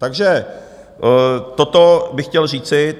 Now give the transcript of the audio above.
Takže toto bych chtěl říci.